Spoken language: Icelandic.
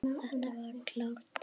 Þetta var klárt.